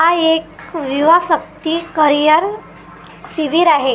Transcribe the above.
हा एक युवाशक्ती करिअर शिबीर आहे.